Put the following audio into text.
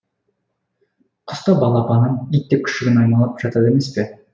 құс та балапанын ит те күшігін аймалап жатады емес пе